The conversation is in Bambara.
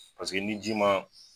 Paseke ni ji maa